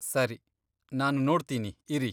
ಸರಿ, ನಾನು ನೋಡ್ತೀನಿ ಇರಿ.